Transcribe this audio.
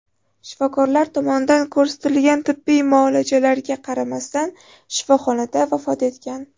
Shifokorlar tomonidan ko‘rsatilgan tibbiy muolajalarga qaramasdan shifoxonada vafot etgan.